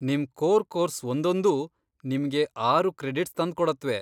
ನಿಮ್ core course ಒಂದೊಂದೂ ನಿಮ್ಗೆ ಆರು ಕ್ರೆಡಿಟ್ಸ್ ತಂದ್ಕೊಡತ್ವೆ.